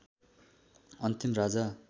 अन्तिम राजा